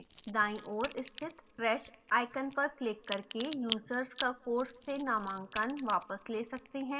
दाईं ओर स्थित trash icon पर क्लिक करके यूजर्स का course से नामांकन वापस ले सकते हैं